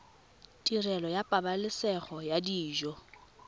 tirelo ya pabalesego ya dijo